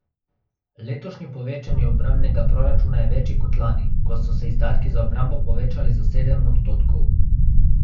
Letošnje povečanje obrambnega proračuna je večje kot lani, ko so se izdatki za obrambo povečali za sedem odstotkov.